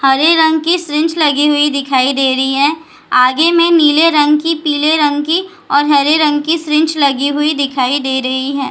हरे रंग की लगी हुई दिखाई दे रही है आगे में नीले रंग की पीले रंग की और हरे रंग की लगी हुई दिखाई दे रही है।